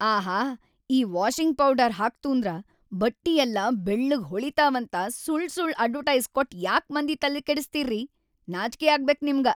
ಆಹಾ‌ ಈ washing powder ಹಾಕ್ತೂಂದ್ರ ಬಟ್ಟಿಯೆಲ್ಲ ಬೆಳ್ಳಗ್‌ ಹೊಳಿತಾವಂತ ಸುಳ್‌ಸುಳ್‌ ಅಡ್ವಟೈಸ್ ಕೊಟ್ ಯಾಕ್ ಮಂದಿ ತಲಿಕೆಡಸ್ತೀರ್ರೀ, ನಾಚ್ಕಿ ಆಗ್ಬೇಕ್‌ ನಿಮ್ಗ.